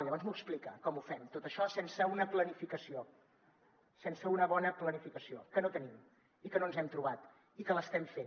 llavors m’ho explica com ho fem tot això sense una planificació sense una bona planificació que no tenim i que no ens hem trobat i que l’estem fent